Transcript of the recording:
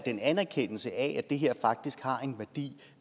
en anerkendelse af at det her faktisk har en værdi